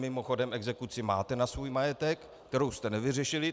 Mimochodem, exekuci máte na svůj majetek, kterou jste nevyřešili.